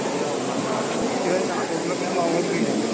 Camera ଖରାପ ହେଇଗଲାଣି ସେଥିପାଇଁ ତମେ କହୁଥିଲ କି ନୁଆ mobile କିଣିଆ ପାଇଁ?